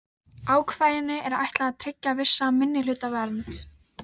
Ætluðu forlögin henni þetta hlutskipti í lífinu?